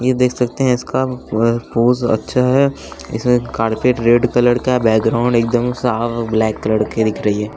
ये देख सकते हैं इसका अ पोज अच्छा है इसमें कारपेट रेड कलर का है बैकग्राउंड एकदम साफ ब्लैक कलर के दिख रही है।